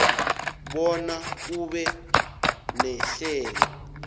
bona kube nehlelo